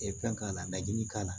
fɛn k'a lajigin k'a la